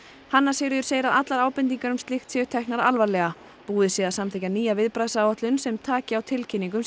hanna Sigríður segir að allar ábendingar um slíkt séu teknar alvarlega búið sé að samþykkja nýja viðbragðsáætlun sem taki á tilkynningum